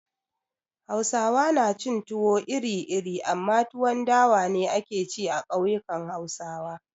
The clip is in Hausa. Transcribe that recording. Hausawa na cin tuwo iri-iri amma tuwon dawa ne ake ci a kauyukan Hausawa.